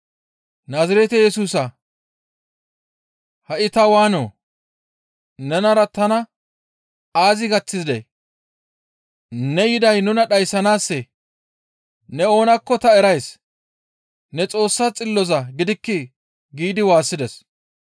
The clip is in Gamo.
«Naazirete Yesusaa ha7i ta waanoo? Nenara tana aazi gaththidee? Ne yiday nuna dhayssanaassee? Ne oonakko ta erays; ne Xoossa Xilloza gidikkii?» giidi waassides.